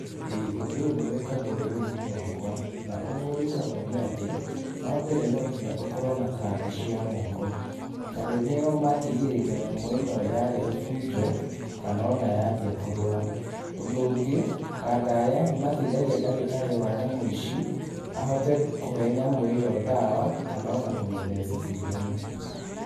Ĩĩ, ũndũ ũyũ nĩ wĩkagwo rũrĩrĩ-ini rwakwa. Na ũguo ũgĩkagwo nĩ atĩ, wa mbere no nginya ũkorwo na kanda cia moko tondũ nĩo mangĩgirĩrĩria nyamũ ĩno yarehe bunjo, kana ona yambia kũrũa. Ũndũ ũngĩ, kanda yani mateithagia ndagĩtarĩ wa nyamũ ici ahote kũhe nyamũ iyo ndawa, kana ona kũmĩtheca cindano.